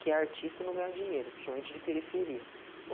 quem é artista não ganha dinheiro, principalmente de periferia.